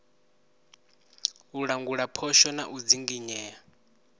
u langula phosho na u dzinginyea